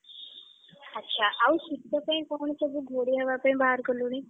ଆଛା ଆଉ ଶୀତ ପାଇଁ କଣ ସବୁ ଘୋଡ଼େଇ ହବାପାଇଁ ବାହାର କଲୁଣି?